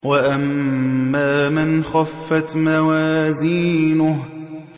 وَأَمَّا مَنْ خَفَّتْ مَوَازِينُهُ